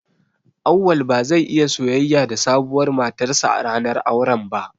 Auwal ba zai iya soyayya da sabuwar matarsa ​​a ranar auren ba.